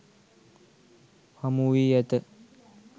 හමුවී ඇත.